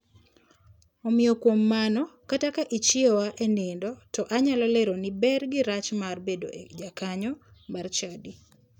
Omiyo kuom mano kata ka ichiewa e nindo to anyalo leroni ber gi rach mar bedo e jakanyo mar chadi.